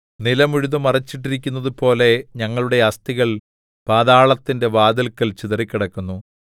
നിലം ഉഴുതു മറിച്ചിട്ടിരിക്കുന്നതുപോലെ ഞങ്ങളുടെ അസ്ഥികൾ പാതാളത്തിന്റെ വാതില്ക്കൽ ചിതറിക്കിടക്കുന്നു